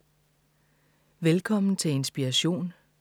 Velkommen til Inspiration.